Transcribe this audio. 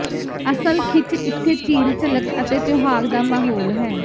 ਅਸਲ ਖਿੱਚ ਇੱਥੇ ਝੀਲ ਝਲਕ ਅਤੇ ਤਿਉਹਾਰ ਦਾ ਮਾਹੌਲ ਹੈ